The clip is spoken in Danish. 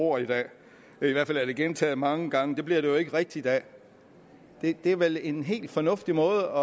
ord i dag i hvert fald er det blevet gentaget mange gange men det bliver det jo ikke rigtigt af det er vel en helt fornuftig måde